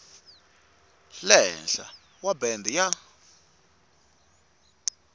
le henhla wa bende ya